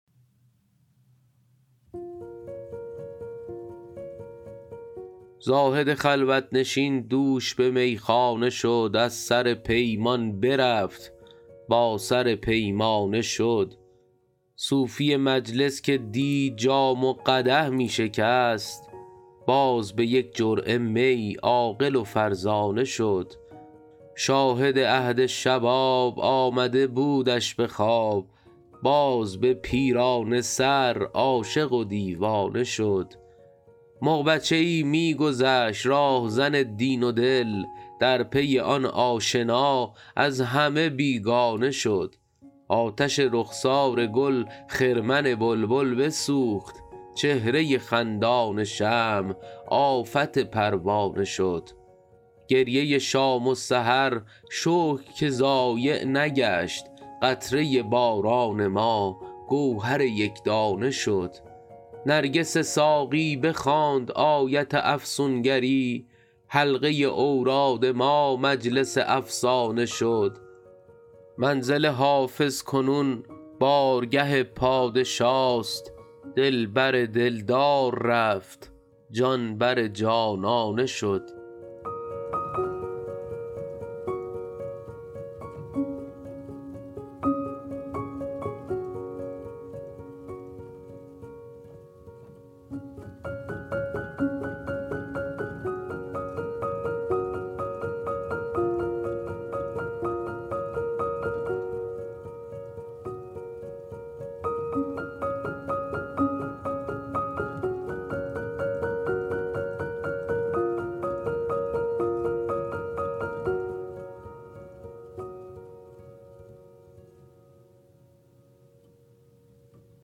زاهد خلوت نشین دوش به میخانه شد از سر پیمان برفت با سر پیمانه شد صوفی مجلس که دی جام و قدح می شکست باز به یک جرعه می عاقل و فرزانه شد شاهد عهد شباب آمده بودش به خواب باز به پیرانه سر عاشق و دیوانه شد مغ بچه ای می گذشت راهزن دین و دل در پی آن آشنا از همه بیگانه شد آتش رخسار گل خرمن بلبل بسوخت چهره خندان شمع آفت پروانه شد گریه شام و سحر شکر که ضایع نگشت قطره باران ما گوهر یک دانه شد نرگس ساقی بخواند آیت افسون گری حلقه اوراد ما مجلس افسانه شد منزل حافظ کنون بارگه پادشاست دل بر دل دار رفت جان بر جانانه شد